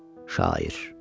Şair.